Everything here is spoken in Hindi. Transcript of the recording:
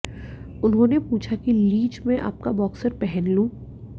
उन्होंने पूछा कि लीच मैं आपका बॉक्सर पहन लूं